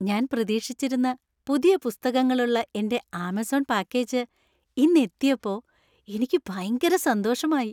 ഞാൻ പ്രതീക്ഷിച്ചിരുന്ന പുതിയ പുസ്തകങ്ങളുള്ള എന്‍റെ ആമസോൺ പാക്കേജ് ഇന്ന് എത്തിയപ്പോ എനിക്ക് ഭയങ്കര സന്തോഷമായി .